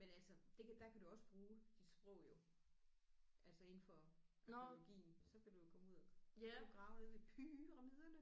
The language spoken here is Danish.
Men altså det kan der kan du også bruge dit sprog jo altså inden for arkæologien så kan du komme ud og så kan du grave nede ved pyramiderne